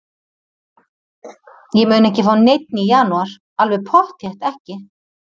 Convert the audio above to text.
Ég mun ekki fá neinn í janúar, alveg pottþétt ekki.